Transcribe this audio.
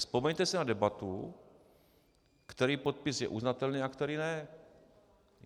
Vzpomeňte si na debatu, který podpis je uznatelný a který ne.